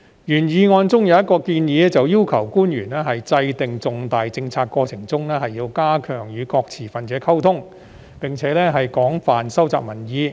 原議案中有一項建議，便是要求官員在制訂重大政策過程時要加強與各持份者溝通，並廣泛收集民意。